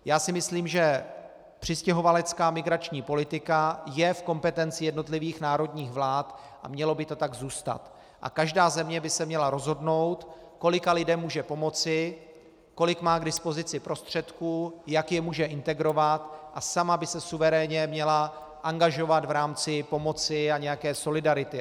Já si myslím, že přistěhovalecká migrační politika je v kompetenci jednotlivých národních vlád a mělo by to tak zůstat a každá země by se měla rozhodnout, kolika lidem může pomoci, kolik má k dispozici prostředků, jak je může integrovat, a sama by se suverénně měla angažovat v rámci pomoci a nějaké solidarity.